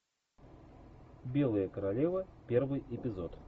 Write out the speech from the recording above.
белая королева первый эпизод